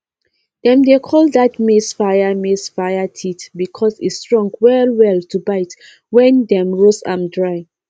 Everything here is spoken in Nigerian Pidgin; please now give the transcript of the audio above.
dem dey call dat maize fire maize fire teeth because e strong wellwell to bite when dem roast am dry